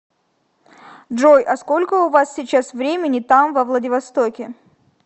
джой а сколько у вас сейчас времени там во владивостоке